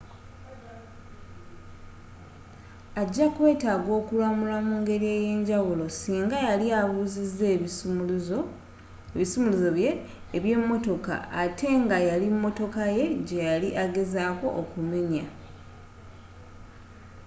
ajakwetaaga okulamulwa mu ngeri eyenjawulo senga yali abuziza ebisumuluzo bye eby'emotoka ate nga yali motoka ye gyeyali agezaako okumenya